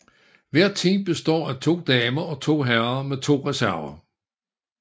Hvert team består af to damer og to herrer med to reserver